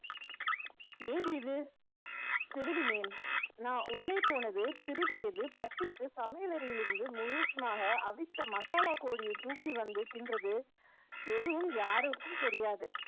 ஏது இது திருடினேன் நான் உள்ளே போனது திருடியது பசிக்கு சமையலறையில் இருந்து முழுசுமாக அவித்த மசாலா கோழியை தூக்கி வந்து தின்றது எதுவும் யாருக்கும் தெரியாது